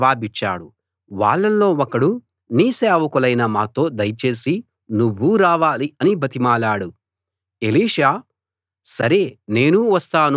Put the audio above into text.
వాళ్ళల్లో ఒకడు నీ సేవకులైన మాతో దయచేసి నువ్వూ రావాలి అని బతిమాలాడు ఎలీషా సరే నేనూ వస్తాను అన్నాడు